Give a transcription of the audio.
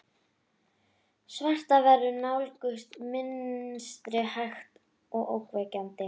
Svartar verur nálguðust í mistrinu, hægt og ógnvekjandi.